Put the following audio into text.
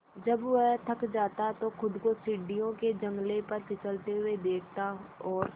जब वह थक जाता तो खुद को सीढ़ियों के जंगले पर फिसलते हुए देखता और